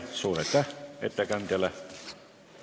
Suur aitäh ettekandjale!